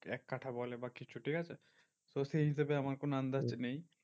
এক কাঠা বলে বা কিছু ঠিকাছে? তো সেই হিসেবে আমার কোনো আন্দাজ নেই।